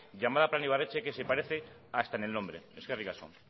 llamada plan ibarretxe que se parece hasta en el nombre eskerrik asko